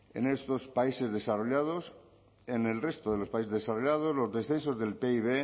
en estos países desarrollados en el resto de los países desarrollados los descensos del pib